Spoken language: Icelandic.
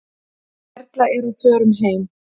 Erla er á förum heim.